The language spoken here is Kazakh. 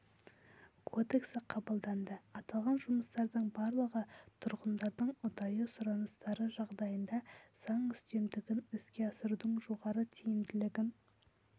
кодексі қабылданды аталған жұмыстардың барлығы тұрғындардың ұдайы сұраныстары жағдайында заң үстемдігін іске асырудың жоғары тиімділігін